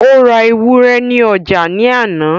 ó ra ewúrẹ́ ní ọjà ní àná